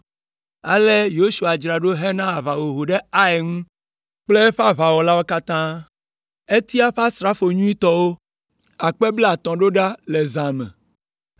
Ale Yosua dzra ɖo hena aʋahoho ɖe Ai ŋu kple eƒe aʋawɔlawo katã. Etia eƒe asrafo nyuitɔwo akpe blaetɔ̃ ɖo ɖa le zã me;